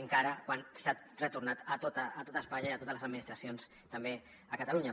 encara que s’ha retornat a tot espanya i a totes les administracions també a catalunya